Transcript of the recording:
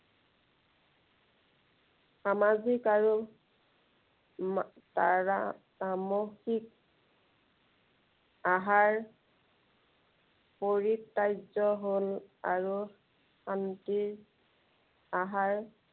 সামাজিক আৰু মা তাৰা তামসিক আহাৰ পৰিচাৰ্য হল আৰু শান্তিৰ